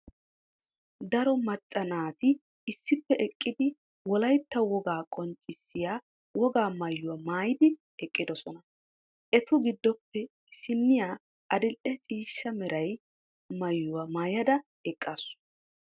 Daro macca naati issippe eqqidi wolaytta wogaa qonccissiya wogaa maayuwa maayidi eqqidossona. Etu giddoppe issiniya adil"e ciishsha meray maayuwa maayada eqqaasu.